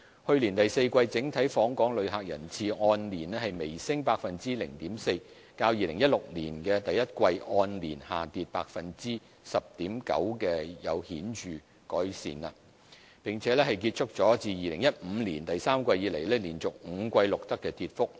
去年第四季整體訪港旅客人次按年微升 0.4%， 較2016年第一季按年下跌 10.9%， 情況有顯著改善，並結束了自2015年第三季以來連續5季錄得的跌幅。